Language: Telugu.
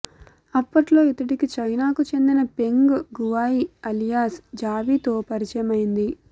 అప్పట్లో ఇతడికి చైనాకు చెందిన పెంగ్ గువాయి అలియాస్ జావీతో పరిచయమైంది